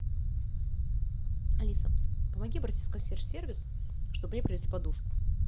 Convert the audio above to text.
алиса помоги обратиться в консьерж сервис чтобы мне принесли подушку